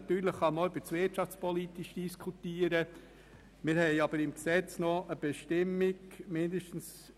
Natürlich kann man auch über das «wirtschaftspolitisch» diskutieren.